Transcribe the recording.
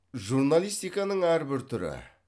журналистиканың әрбір түрі